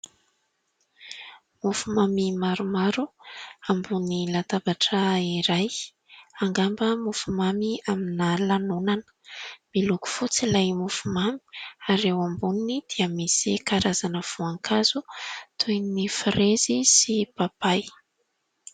Mofo mamy maromaro, ambony latabatra iray angamba mofo mamy amina lanonana ; miloko fotsy ilay mofo mamy ary eo amboniny dia misy karazana voankazo toy ny firezy sy papay.